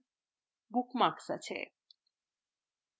bookmarks আছে